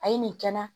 A ye nin kɛ n na